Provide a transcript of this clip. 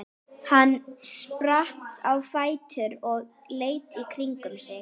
Hann spratt á fætur og leit í kringum sig.